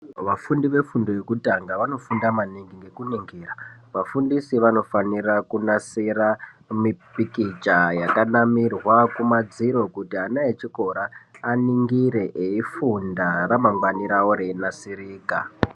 Vafundi vefundo yekutanga vanofunda maningi nekuningira vafundisi vanofanira kunasira mipikicha yakanamirwa kumadziro. Kuti ana echikora aningire eifunda ramangwani ravo reinasirika.